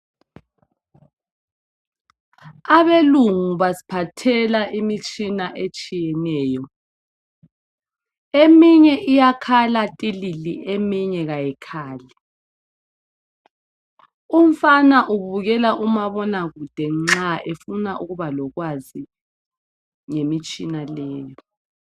Abelungu basiphathela imitshina etshiyeneyo. Eminye iyakhala "tilili" eminye ayikhali. Umfana ubukela umabonakude nxa efuna ukubakwazi ngemitshina leyo